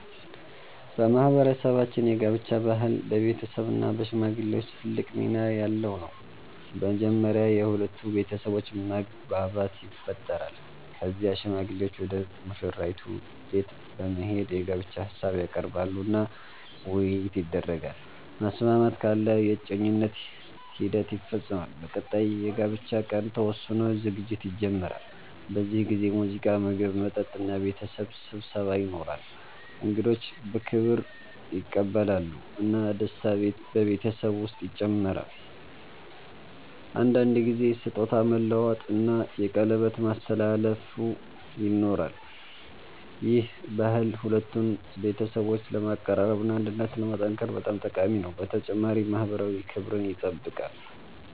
በማህበረሰባችን የጋብቻ ባህል በቤተሰብ እና በሽማግሌዎች ትልቅ ሚና ያለው ነው። መጀመሪያ የሁለቱ ቤተሰቦች መግባባት ይፈጠራል። ከዚያ ሽማግሌዎች ወደ ሙሽራይቱ ቤት በመሄድ የጋብቻ ሀሳብ ያቀርባሉ እና ውይይት ይደረጋል። መስማማት ካለ የእጮኝነት ሂደት ይፈጸማል። በቀጣይ የጋብቻ ቀን ተወስኖ ዝግጅት ይጀመራል። በዚህ ጊዜ ሙዚቃ፣ ምግብ፣ መጠጥ እና ቤተሰብ ስብሰባ ይኖራል። እንግዶች በክብር ይቀበላሉ እና ደስታ በቤተሰቡ ውስጥ ይጨምራል። አንዳንድ ጊዜ ስጦታ መለዋወጥ እና የቀለበት ማስተላለፍ ይኖራል። ይህ ባህል ሁለቱን ቤተሰቦች ለማቀራረብ እና አንድነትን ለማጠናከር በጣም ጠቃሚ ነው፣ በተጨማሪም ማህበራዊ ክብርን ይጠብቃል።